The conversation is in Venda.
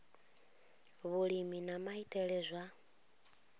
vhulimi na maitele a zwa